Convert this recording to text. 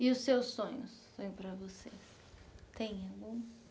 E os seus sonhos? Sonho para você tem algum